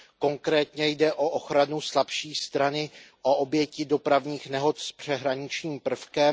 Konkrétně jde o ochranu slabší strany, o oběti dopravních nehod s přeshraničním prvkem.